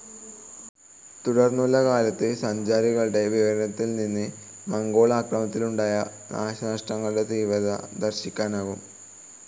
തുടർന്നുള്ള കാലത്തെ സഞ്ചാരികളുടെ വിവരണത്തിൽ നിന്നും മംഗോൾ ആക്രമണത്തിലുണ്ടായ നാശനഷ്ടങ്ങളുടെ തീവ്രത ദർശിക്കാനാകും.